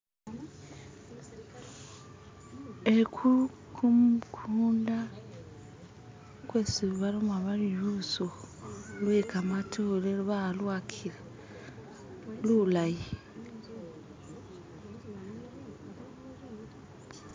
Eku, kumukunda kwesi baloma bari lusukhu lwe kamatore balwakila, lulay.